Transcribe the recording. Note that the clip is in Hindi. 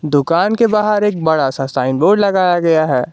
दुकान के बाहर एक बड़ा सा साइन बोर्ड लगाया गया है।